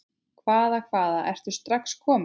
Hvaða, hvaða, ertu strax kominn?